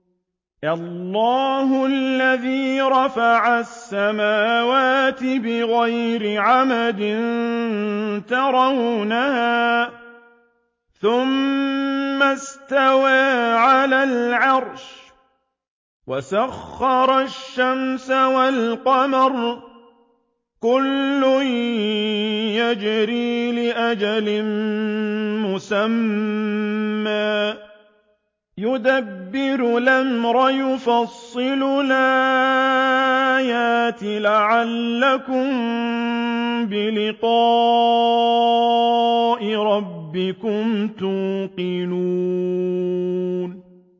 اللَّهُ الَّذِي رَفَعَ السَّمَاوَاتِ بِغَيْرِ عَمَدٍ تَرَوْنَهَا ۖ ثُمَّ اسْتَوَىٰ عَلَى الْعَرْشِ ۖ وَسَخَّرَ الشَّمْسَ وَالْقَمَرَ ۖ كُلٌّ يَجْرِي لِأَجَلٍ مُّسَمًّى ۚ يُدَبِّرُ الْأَمْرَ يُفَصِّلُ الْآيَاتِ لَعَلَّكُم بِلِقَاءِ رَبِّكُمْ تُوقِنُونَ